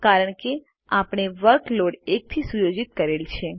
કારણ કે આપણે વર્કલોડ 1 થી સુયોજિત કરેલ છે